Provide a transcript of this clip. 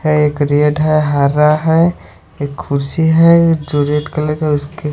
है एक क्रेट है हरा है एक कुर्सी है जो रेड कलर का उसके--